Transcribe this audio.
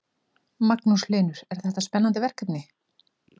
Magnús Hlynur: Er þetta spennandi verkefni?